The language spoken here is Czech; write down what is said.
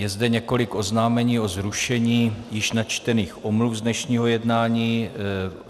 Je zde několik oznámení o zrušení již načtených omluv z dnešního jednání.